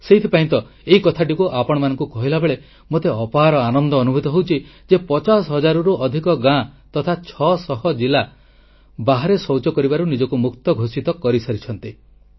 ସେଥିପାଇଁ ତ ଏହି କଥାଟିକୁ ଆପଣମାନଙ୍କୁ କହିଲାବେଳେ ମୋତେ ଅପାର ଆନନ୍ଦ ଅନୁଭୂତ ହେଉଛି ଯେ 5ଲକ୍ଷ ପଚାଶ ହଜାରରୁ ଅଧିକ ଗାଁ ତଥା ଛଅ ଶହ ଜିଲ୍ଲା ଖୋଲାଶୌଚ ମୁକ୍ତ ଘୋଷିତ ହୋଇସାରିଛନ୍ତି